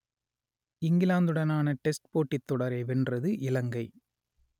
இங்கிலாந்துடனான test போட்டித் தொடரை வென்றது இலங்கை